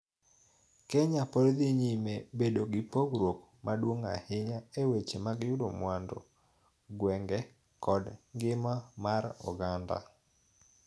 Kenya pod dhi nyime bedo gi pogruok maduong' ahinya e weche mag yudo mwandu, gwenge, kod ngima mar oganda,